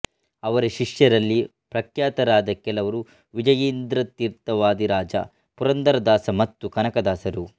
ಅವರ ಶಿಷ್ಯರಲ್ಲಿ ಪ್ರಖ್ಯಾತರಾದ ಕೆಲವರು ವಿಜಯೀಂದ್ರತೀರ್ಥ ವಾದಿರಾಜ ಪುರಂದರದಾಸ ಮತ್ತು ಕನಕದಾಸರು